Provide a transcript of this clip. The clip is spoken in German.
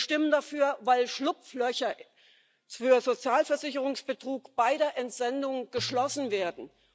Wir stimmen dafür, weil Schlupflöcher für Sozialversicherungsbetrug bei der Entsendung geschlossen werden.